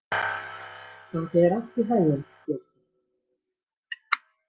Gangi þér allt í haginn, Bjarki.